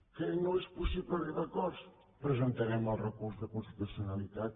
que no és possible arribar a acords presentarem el recurs de constitucionalitat